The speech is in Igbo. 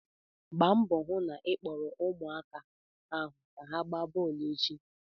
Gbaa mbọ hụ na ị kpọọrọ ụmụaka ahụ ka ha ga-gbaa bọọlụ echi!